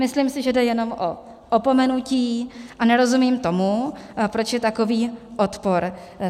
Myslím si, že jde jenom o opomenutí, a nerozumím tomu, proč je takový odpor.